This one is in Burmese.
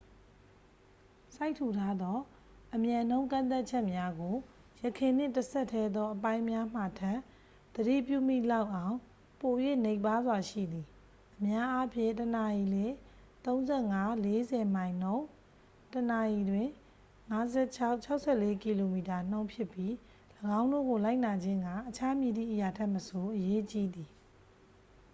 စိုက်ထူထားသော အမြန်နှုန်းကန့်သတ်ချက်များကို ယခင်နှင့် တစ်ဆက်တည်းသော အပိုင်းများမှာထက် သတိပြုမိလောက်အောင် ပို၍ နိမ့်ပါးစွာရှိသည် - အများအားဖြင့် တစ်နာရီလျှင် ၃၅-၄၀ မိုင်နှုန်း တစ်နာရီလျှင် ၅၆-၆၄ ကီလိုမီတာနှုန်း ဖြစ်ပြီး ၎င်းတို့ကို လိုက်နာခြင်းက အခြားမည်သည့်အရာထက်မဆို အရေးကြီးသည်။